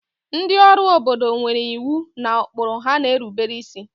ndị ọrụ obodo nwere iwu na ụkpụrụ ha na-erubere isi